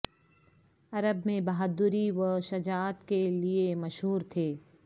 عرب میں بہادری و شجاعت کے لیے مشہور تھے